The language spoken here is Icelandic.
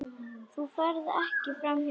Þú ferð ekki framhjá honum.